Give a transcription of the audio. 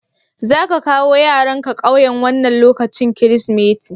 Za ƙa kawo yaranka ƙauyen wannan lokacin Kirsimeti?